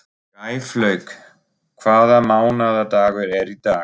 Gæflaug, hvaða mánaðardagur er í dag?